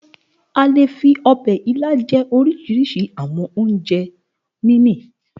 A le fi ọbẹ̀ ilá jẹ oríṣiríṣi àwọn oúnjẹ mímì.